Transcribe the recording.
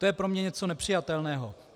To je pro mě něco nepřijatelného.